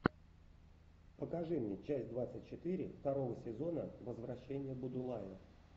покажи мне часть двадцать четыре второго сезона возвращение будулая